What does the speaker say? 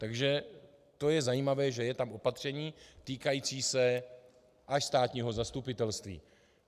Takže to je zajímavé, že je tam opatření týkající se až státního zastupitelství.